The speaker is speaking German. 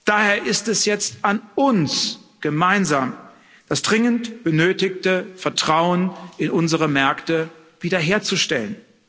Daher ist es jetzt an uns gemeinsam, das dringend benötigte Vertrauen in unsere Märkte wiederherzustellen.